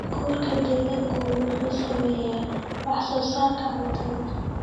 Nabaad-guurka deegaanku wuxuu saameeyaa wax-soo-saarka cuntada.